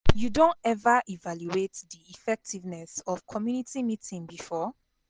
You don ever evaluate di effectiveness of community meeting before?